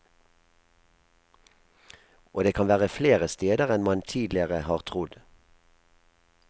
Og det kan være flere steder enn man tidligere har trodd.